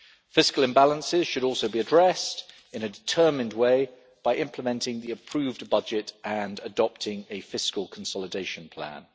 Fiscal imbalances should also be addressed in a determined way by implementing the approved budget and adopting a fiscal consolidation plan.